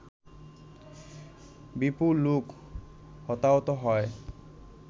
বিপুল লোক হতাহত হয়